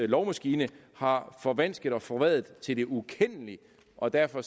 lovmaskine har forvansket og forvredet til det ukendelige og derfor